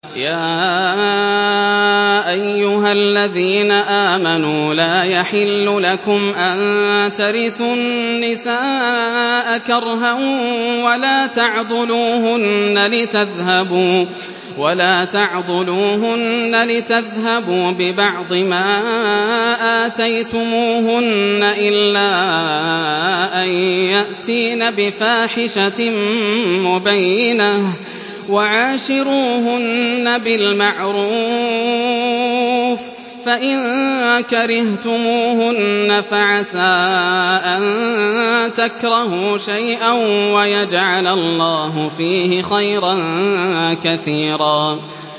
يَا أَيُّهَا الَّذِينَ آمَنُوا لَا يَحِلُّ لَكُمْ أَن تَرِثُوا النِّسَاءَ كَرْهًا ۖ وَلَا تَعْضُلُوهُنَّ لِتَذْهَبُوا بِبَعْضِ مَا آتَيْتُمُوهُنَّ إِلَّا أَن يَأْتِينَ بِفَاحِشَةٍ مُّبَيِّنَةٍ ۚ وَعَاشِرُوهُنَّ بِالْمَعْرُوفِ ۚ فَإِن كَرِهْتُمُوهُنَّ فَعَسَىٰ أَن تَكْرَهُوا شَيْئًا وَيَجْعَلَ اللَّهُ فِيهِ خَيْرًا كَثِيرًا